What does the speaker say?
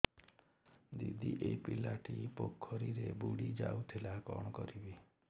ଦିଦି ଏ ପିଲାଟି ପୋଖରୀରେ ବୁଡ଼ି ଯାଉଥିଲା କଣ କରିବି